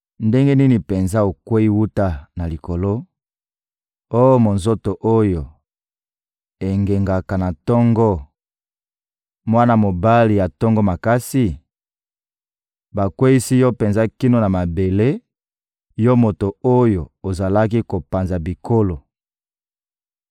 Ndenge nini penza okweyi wuta na likolo, oh monzoto oyo engengaka na tongo, mwana mobali ya tongo makasi? Bakweyisi yo penza kino na mabele, yo moto oyo ozalaki kopanza bikolo!